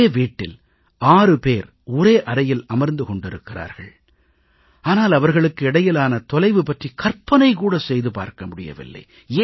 ஒரே வீட்டில் 6 பேர் ஒரே அறையில் அமர்ந்து கொண்டிருக்கிறார்கள் ஆனால் அவர்களுக்கு இடையிலான தொலைவு பற்றிக் கற்பனை கூட செய்து பார்க்க முடியவில்லை